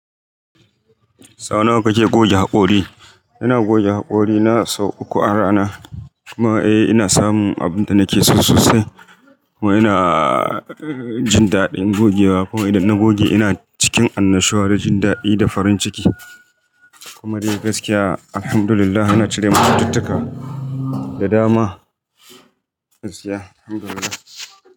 Sau nawa kake goge hakori? Ina goge hakori na sau uku a rana. Kuma eh ina samun abin da nake so sosai. Kuma ina jin daɗin gogewa. Kuma idan na goge ina cikin annashuwa da jin daɗi da farin ciki. Kuma dai gaskiya, Alhamdulillah, yana cire masu cututtuka da dama. Gaskiya, Alhamdulillah.